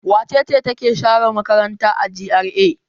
Wace ce take share makaranta a GRA?